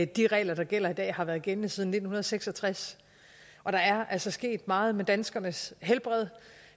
de regler der gælder i dag har været gældende siden nitten seks og tres og der er altså sket meget med danskernes helbred